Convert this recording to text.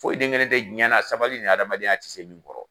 Foyi den kelen te diɲɛna sabali ni adamadenya ti se min kɔrɔ